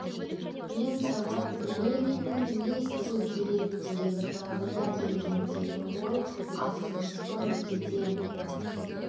мен саған лениннің не істеу керек деген кітабын әкелдім деді ол асығыспын кетем